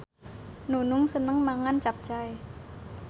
Nunung seneng mangan capcay